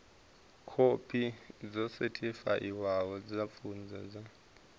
khophi dzo sethifaiwaho dza pfunzo dzavho